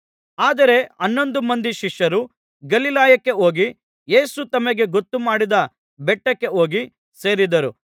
ಆದರೆ ಹನ್ನೊಂದು ಮಂದಿ ಶಿಷ್ಯರು ಗಲಿಲಾಯಕ್ಕೆ ಹೋಗಿ ಯೇಸು ತಮಗೆ ಗೊತ್ತುಮಾಡಿದ್ದ ಬೆಟ್ಟಕ್ಕೆ ಹೋಗಿ ಸೇರಿದರು